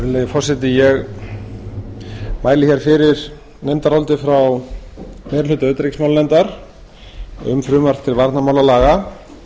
virðulegi forseti ég mæli fyrir nefndaráliti frá meiri hluta utanríkismálanefndar um frumvarp til varnarmálalaga